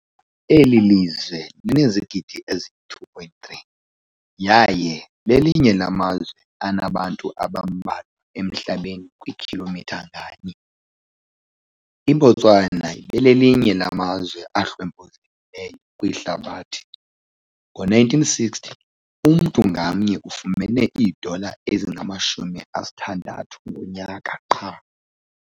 Le lizwe linezigidi ezi-2.3, yaye lelinye lamazwe anabantu abambalwa emhlabeni kwikhilomitha nganye. IBotswana belelinye lamazwe ahlwempuzekileyo kwihlabathi- ngo-1960 umntu ngamnye ufumene iidola ezingama-60 ngonyaka qha.